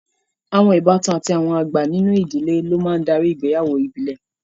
Àwọn ìbátan àti àwọn àgbà nínú ìdíléb lo máa ńdari ìgbéyàwó ìbílẹ̀